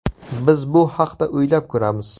Biz bu haqda o‘ylab ko‘ramiz.